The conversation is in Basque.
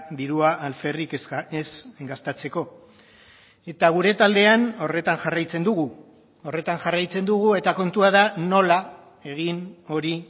dirua alferrik ez gastatzeko eta gure taldean horretan jarraitzen dugu horretan jarraitzen dugu eta kontua da nola egin hori